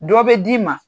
Dɔ bɛ d'i ma